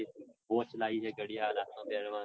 watch લાઇ હે ઘડિયાળ હાથમાં પેરવાની.